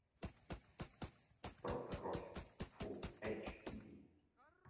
просто кровь фулл эйч ди